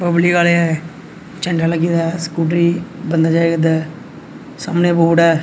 झंडा लगा है स्कूटी बंदा जाए करदा सामने बोर्ड है।